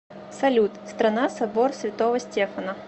салют страна собор святого стефана